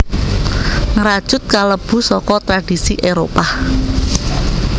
Ngrajut kalebu saka tradhisi Éropah